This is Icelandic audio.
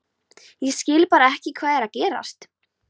Ég skil bara ekki hvað er að gerast.